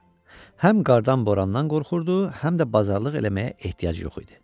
Həm qardan, borandan qorxurdu, həm də bazarlıq eləməyə ehtiyac yox idi.